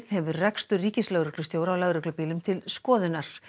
hefur rekstur ríkislögreglustjóra á lögreglubílum til skoðunar